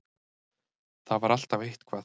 Það var alltaf eitthvað.